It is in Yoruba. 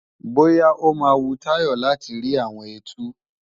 Bóyá ó máa wu Táyọ̀ láti rí àwọn ẹtu